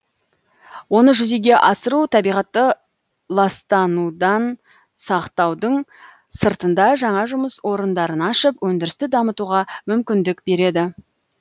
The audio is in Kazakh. оны жүзеге асыру табиғатты ластанудан сақтаудың сыртында жаңа жұмыс орындарын ашып өндірісті дамытуға мүмкіндік береді